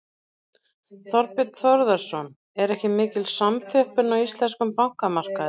Þorbjörn Þórðarson: Er ekki mikil samþjöppun á íslenskum bankamarkaði?